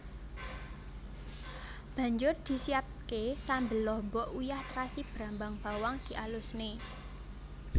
Banjur disiapké sambel lombok uyah trasi brambang bawang dialusne